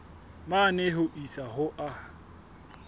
mane ho isa ho a